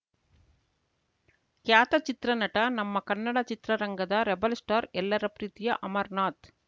ಖ್ಯಾತ ಚಿತ್ರ ನಟ ನಮ್ಮ ಕನ್ನಡ ಚಿತ್ರರಂಗದ ರೆಬೆಲ್‌ ಸ್ಟಾರ್‌ ಎಲ್ಲರ ಪ್ರೀತಿಯ ಅಮರನಾಥ್‌